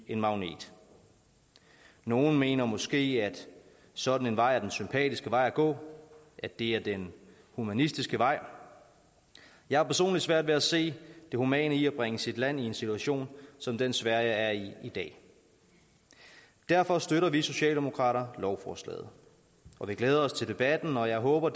en magnet nogle mener måske at sådan en vej er den sympatiske vej at gå at det er den humanistiske vej jeg har personligt svært ved at se det humane i at bringe sit land i en situation som den sverige er i i dag derfor støtter vi socialdemokrater lovforslaget og vi glæder os til debatten og jeg håber